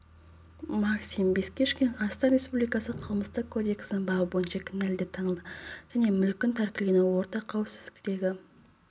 максим бескишкин қазақстан республикасы қылмыстық кодексінің бабы бойынша кінәлі деп танылды және мүлкін тәркілеумен орта қауіпсіздіктегі